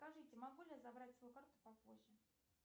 скажите могу ли я забрать свою карту попозже